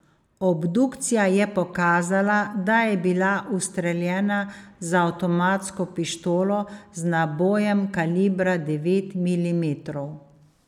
Obdukcija je pokazala, da je bila ustreljena z avtomatsko pištolo, z nabojem kalibra devet milimetrov.